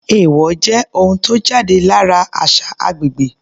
Èèwọ̀ jẹ́ ohun tó jáde lára àṣà agbègbè.